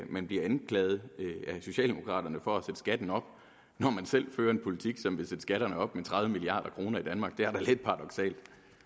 man bliver anklaget af socialdemokraterne for at sætte skatten op når man selv fører en politik som vil sætte skatterne op med tredive milliard kroner det er da lidt paradoksalt